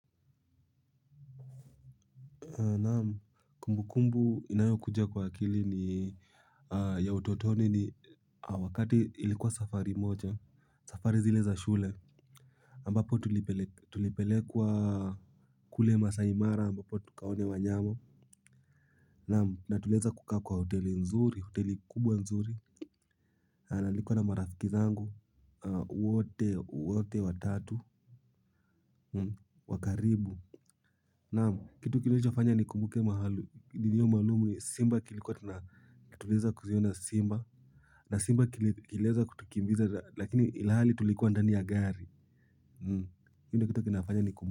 Naam kumbukumbu inayokuja kwa akili ni ya utotoni ni wakati ilikuwa safari moja safari zile za shule ambapo tulipelekwa kule Masai Mara ambapo tukaone wanyama. Naam na tuliweza kukaa kwa hoteli nzuri hoteli kubwa nzuri. Na nilikuwa na marafiki zangu wote wote watatu wa karibu naamu kitu kilichoafanya nikumbuke mahali milio maalumu simba tulikuwa tunaweza kuziona simba na simba kiliweza kutukimbiza lakini ilihali tulikuwa ndani ya gari hii ndo kitu kinafanya nikumbuke.